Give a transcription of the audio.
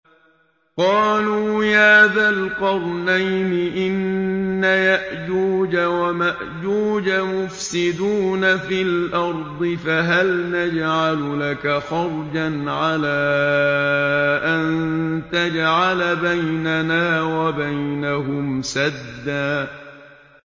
قَالُوا يَا ذَا الْقَرْنَيْنِ إِنَّ يَأْجُوجَ وَمَأْجُوجَ مُفْسِدُونَ فِي الْأَرْضِ فَهَلْ نَجْعَلُ لَكَ خَرْجًا عَلَىٰ أَن تَجْعَلَ بَيْنَنَا وَبَيْنَهُمْ سَدًّا